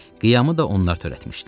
Qiyamı da onlar törətmişdilər.